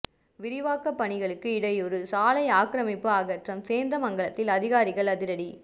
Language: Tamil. விரிவாக்க பணிகளுக்கு இடையூறு சாலை ஆக்கிரமிப்பு அகற்றம் சேந்தமங்கலத்தில் அதிகாரிகள் அதிரடி